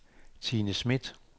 Tine Smith